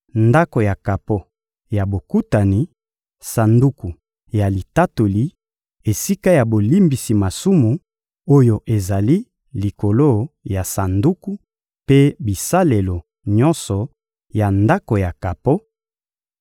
Ndako ya kapo ya Bokutani, Sanduku ya Litatoli, esika ya bolimbisi masumu oyo ezali likolo ya Sanduku, mpe bisalelo nyonso ya Ndako ya kapo;